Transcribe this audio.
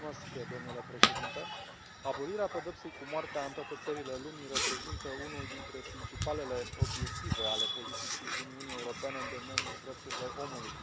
Domnule președinte, abolirea pedepsei cu moartea în toate țările lumii reprezintă unul dintre principalele obiective ale politicii Uniunii Europene în domeniul drepturilor omului.